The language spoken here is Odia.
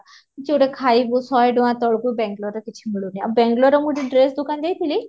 କିଛି ଗୋଟେ ଖାଇବୁ ସଶେ ଟଙ୍କା ତଳକୁ ବେଙ୍ଗଲୁରୁ ରେ କିଛି ମିଳୁନି ଆଉ ବେଙ୍ଗଲୁରୁ ରେ ଗୋଟେ dress ଦୁକାନ କୁ ଯାଈଥିଲି